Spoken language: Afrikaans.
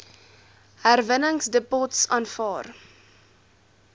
herwinningsdepots aanvaar